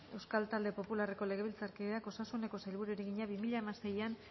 euskal talde popularreko legebiltzarkideak osasuneko sailburuari egina bi mila hamaseian